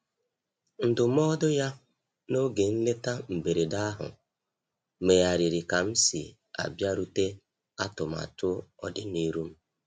Ndụmọdụ ya n'oge nleta mberede ahụ megharịrị ka m si abịarute atụmatụ ọdi n'iru m.